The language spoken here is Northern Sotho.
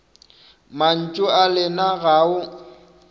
mantšu a lena ga o